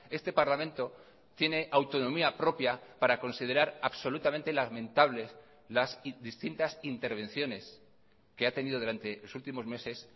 este parlamento tiene autonomía propia para considerar absolutamente lamentables las distintas intervenciones que ha tenido durante los últimos meses